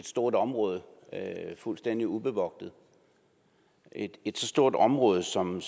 stort område fuldstændig ubevogtet et så stort område som